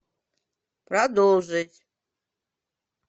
продолжить